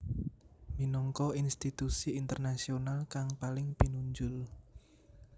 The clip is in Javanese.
minangka institusi internasional kang paling pinunjul